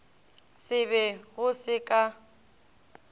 se be go se ka